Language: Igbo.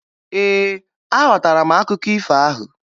Ee, aghọtara m akụkọ ifo ahụ